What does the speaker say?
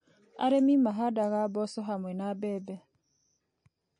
Arĩmi mahandaga mboco hamwe na mbembe.